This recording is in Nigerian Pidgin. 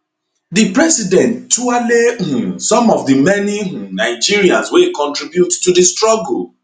di president tuale um some of di many um nigerians wey contribute to di struggle